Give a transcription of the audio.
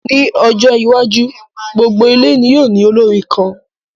Ní ọjọ́ iwájú, gbogbo ilé ní yóò ní olórin kan